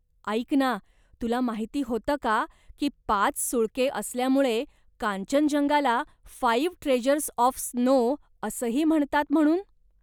ऐक ना तुला माहिती होतं का की पाच सुळके असल्यामुळे कांचनजंगाला 'फाईव्ह ट्रेझ्यर्स ऑफ स्नो' असंही म्हणतात म्हणून ?